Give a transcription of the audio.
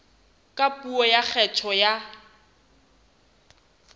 ka puo ya kgetho ya